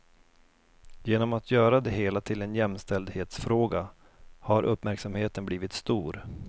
Genom att göra det hela till en jämställdhetsfråga har uppmärksamheten blivit stor.